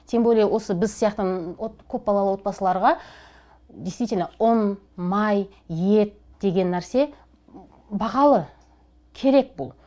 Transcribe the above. тем более осы біз сияқты көп балалы отбасыларға действительно ұн май ет деген нәрсе бағалы керек бұл